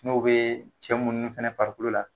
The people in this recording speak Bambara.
Kuma o bɛ cɛ munnu fɛnɛ farikolo la.